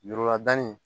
Ɲuruladanni